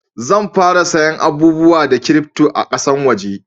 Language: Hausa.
Zan fara saya abubuwa da kirifto a kasan waje